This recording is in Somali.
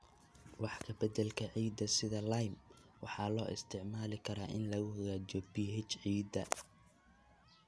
Wax ka beddelka ciidda sida lime waxaa loo isticmaali karaa in lagu hagaajiyo pH ciidda.